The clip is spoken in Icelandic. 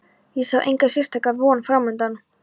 Ég sá enga sérstaka von framundan.